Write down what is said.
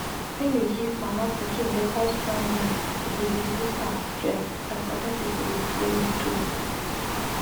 when you give mama pikin better strong mind e dey reduce im stress as other people go follow too.